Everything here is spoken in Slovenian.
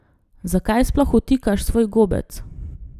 Zakaj sploh vtikaš svoj gobec?